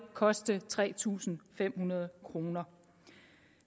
koste tre tusind fem hundrede kroner